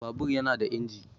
Babur yana da inji